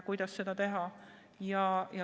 Kuidas seal seda teha?